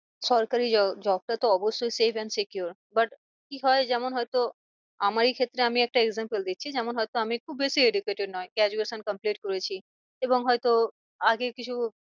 সরকারি job টা তো অবশ্যই safe and secure but কি হয় যেমন হয় তো আমারই ক্ষেত্রে আমি একটা example দিচ্ছি যেমন হয়তো আমি খুব বেশি educated নয় graduation complete করেছি। এবং হয় তো আগে কিছু